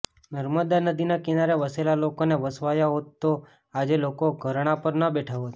નર્મદા નદીના કિનારે વસેલા લોકોને વસાવાયા હોત તો આજે લોકો ધરણા પર ન બેઠા હોત